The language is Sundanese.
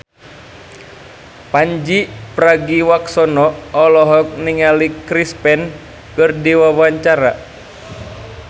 Pandji Pragiwaksono olohok ningali Chris Pane keur diwawancara